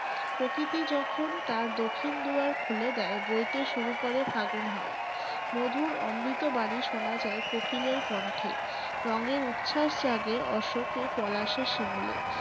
প্রকৃতি যখন তার দখিন দুয়ার খুলে দেয় বইতে শুরু করে ফাগুন হাওয়া। মধুর অমৃত বাণী শোনা যায় কোকিলের কন্ঠে। রঙের উচ্ছাস জাগে অশোকে, পলাশে, শিমুলে।